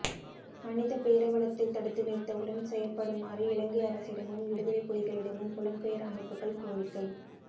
மனித பேரவலத்தை தடுத்து நிறுத்த உடன் செயற்படுமாறு இலங்கை அரசிடமும் விடுதலை புலிகளிடமும் புலம் பெயர் அமைப்புக்கள் கோரிக்கை